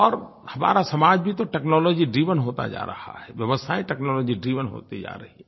और हमारा समाज भी तो टेक्नोलॉजी ड्राइवेन होता जा रहा है व्यवस्थायें टेक्नोलॉजी ड्राइवेन होती जा रही हैं